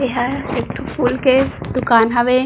ये हा एक ठो फूल के दुकान हावे।